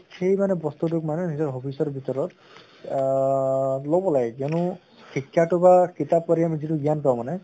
সেই মানে বস্তুটোক মানে নিজৰ hobbies ৰ ভিতৰত আহ লʼব লাগে কিয়্নো শিক্ষাটো বা কিতাপ পঢ়ি আমি যিটো জ্ঞান পাওঁ মানে